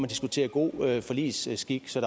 diskutere god forligsskik så